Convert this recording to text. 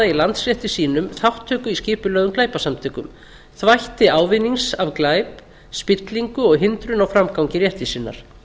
í landsrétti sínum þátttöku í skipulögðum glæpasamtökum þvætti ávinnings af glæp spillingu og hindrun á framgangi réttvísinnar